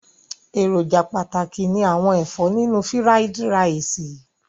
Èròjà pàtàkì ni àwọn ẹ̀fọ́ nínú fírádí raìsì.